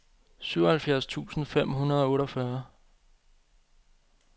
syvoghalvfjerds tusind fem hundrede og otteogfyrre